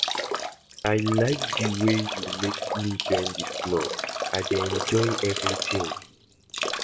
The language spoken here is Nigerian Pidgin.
I like the way you make me join dis club, I dey enjoy everything